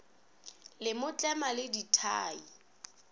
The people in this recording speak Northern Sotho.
le mo tlema le dithai